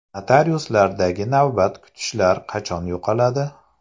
Notariuslardagi navbat kutishlar qachon yo‘qoladi?.